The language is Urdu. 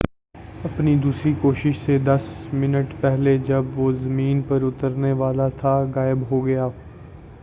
اپنی دوسری کوشش سے دس منٹ پہلے جب وہ زمین پر اترنے والا تھا غائب ہو گیا